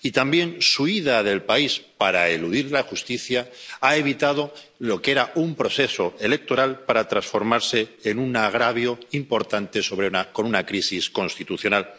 También su huida del país, para eludir la justicia, ha evitado lo que era un proceso electoral, para transformarse en un agravio importante con una crisis constitucional.